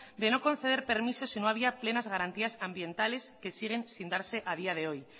de no conceder permisos si no había plenas garantías ambientales que siguen sin darse a día de hoy